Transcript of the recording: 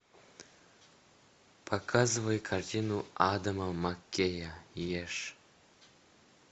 показывай картину адама маккея ешь